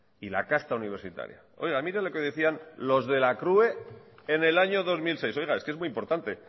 y la casta universitaria mire lo que decían los de la crue en el año dos mil seis es que es muy importante